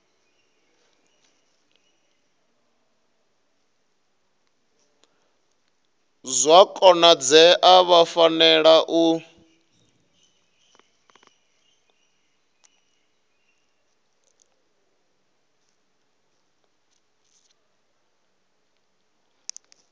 zwa konadzea vha fanela u